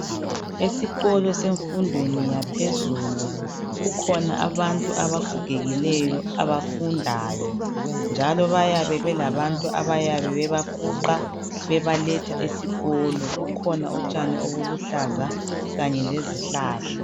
Esikolo semfundweni yaphezulu kukhona abantu abagogekileyo abafundayo njalo bayabe belabantu ababafuqayo bebaletha esikolo. Kukhona utshani obuluhlaza kanye lezihlahla.